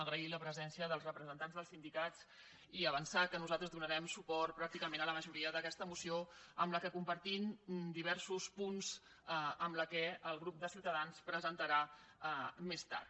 agrair la presència dels representants dels sindicats i avançar que nosaltres donarem suport pràcticament a la majoria d’aquesta moció amb la qual compartim diversos punts amb la que el grup de ciutadans presentarà més tard